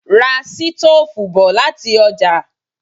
Ra sítóòfù bọ̀ láti ọjà